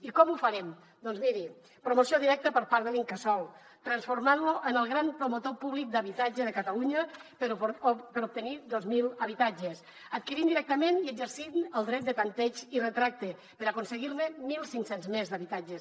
i com ho farem doncs miri promoció directa per part de l’incasòl transformant lo en el gran promotor públic d’habitatge de catalunya per obtenir dos mil habitatges adquirint directament i exercint el dret de tanteig i retracte per aconseguir ne mil cinc cents més d’habitatges